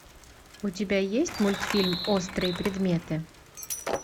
у тебя есть мультфильм острые предметы